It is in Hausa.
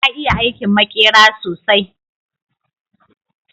ya iya aikin makera sosai